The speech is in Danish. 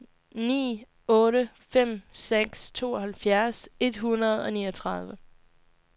ni otte fem seks tooghalvfjerds et hundrede og niogtredive